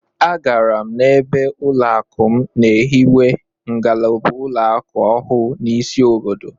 Agara m ebe ụlọakụ m na-ehiwe ngalaba ụlọakụ ọhụụ n'isi obodo